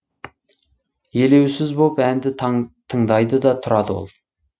елеусіз боп әнді тыңдайды да тұрады ол